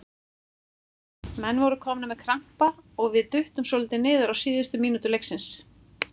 Menn voru komnir með krampa og við duttum svolítið niður síðustu mínútur leiksins.